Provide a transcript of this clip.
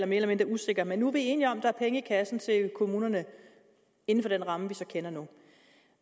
mere eller mindre usikker men nu er vi enige om at der er penge i kassen til kommunerne inden for den ramme vi kender nu